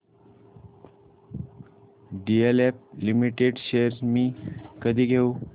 DLF limited shares मी कधी घेऊ